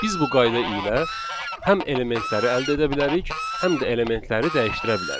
Biz bu qayda ilə həm elementləri əldə edə bilərik, həm də elementləri dəyişdirə bilərik.